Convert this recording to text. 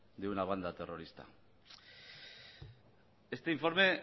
de una banda terrorista este informe